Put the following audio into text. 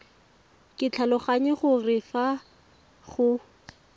ke tlhaloganya gore fa go